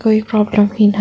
कोई प्रॉब्लम भी न--